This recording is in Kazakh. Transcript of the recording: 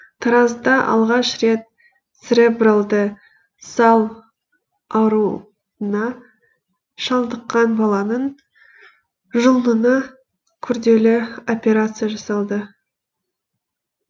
таразда алғаш рет церебралды сал ауруына шалдыққан баланың жұлынына күрделі операция жасалды